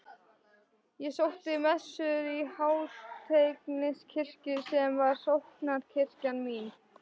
Ég sótti messur í Háteigskirkju sem var sóknarkirkjan mín.